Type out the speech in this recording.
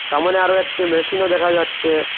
সামোনে আরো একটি মেশিনও দেখা যাচ্ছে।